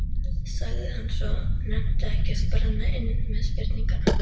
sagði hann svo, nennti ekki að brenna inni með spurninguna.